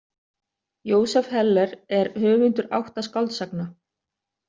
Joseph Heller er höfundur átta skáldsagna.